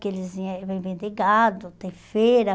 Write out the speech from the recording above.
Que eles vêm vender de gado, tem feira.